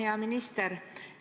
Hea minister!